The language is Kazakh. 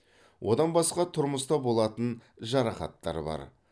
одан басқа тұрмыста болатын жарақаттар бар